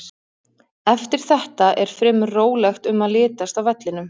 Eftir þetta er fremur rólegt um að litast á vellinum.